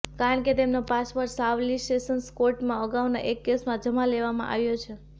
કારણ કે તેમનો પાસપોર્ટ સાવલી સેશન્સ કોર્ટમાં અગાઉના એક કેસમાં જમા લેવામાં આવ્યો છે